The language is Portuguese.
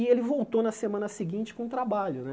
E ele voltou na semana seguinte com um trabalho né.